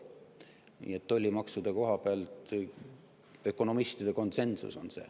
Nii et tollimaksude koha pealt on ökonomistidel konsensus.